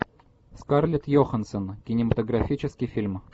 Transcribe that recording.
скарлет йохансон кинематографический фильм